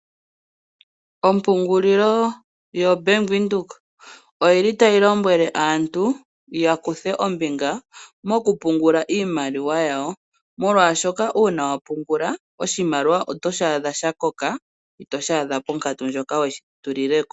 Ompungulilo yoBank Windhoek otayi lombwele aantu ya kuthe ombinga mokupungula iimaliwa yawo, molwashoka uuna wa pungula oshimaliwa otoshi adha sha koka itoshi adha ponkatu ndjoka we shi tulile ko.